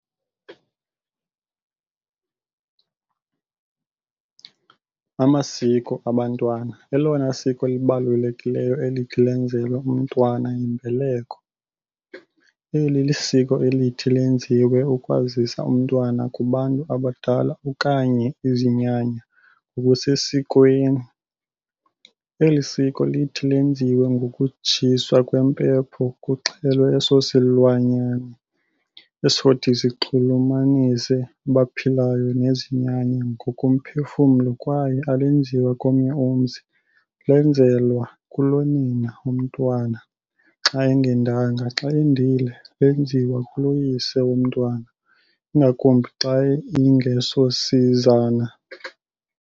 Amasiko abantwana elona siko libalulekileyo elithi lenzelwe umntwana yiMbeleko. Eli lisiko elithi lenziwe ukwazisa umntwana kubantu abadala okanye izinyanya ngokusesikweni. Eli siko lithi lenziwe ngokutshiswa kwempepho kuxhele eso silwane esothi sinxulumanise abaphilayo nezinyanya ngokomphefumlo kwaye alenziwa komnye umzi lenzelwa kulo nina womntwana xa engendanga xa endile lenziwa kulo yise womntwana ingakumbi xa ingesosizana